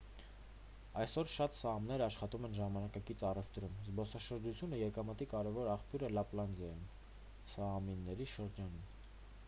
այսօր շատ սաամներ աշխատում են ժամանակակից առևտրում զբոսաշրջությունը եկամտի կարևոր աղբյուր է լապլանդիայում սաամիների շրջանում